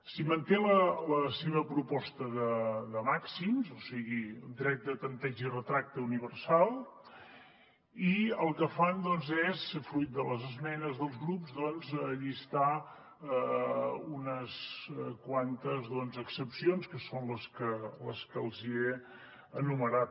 s’hi manté la seva proposta de màxims o sigui dret de tanteig i retracte universal i el que fan doncs és fruit de les esmenes dels grups llistar ne unes quantes excepcions que són les que els hi he enumerat